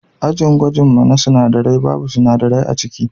Ajin gwajin mu na sinadarai babu sinadarai aciki.